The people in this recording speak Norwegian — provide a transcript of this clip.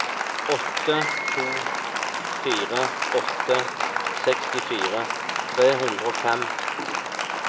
åtte to fire åtte sekstifire tre hundre og fem